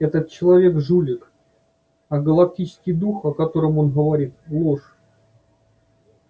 этот человек жулик а галактический дух о котором он говорит ложь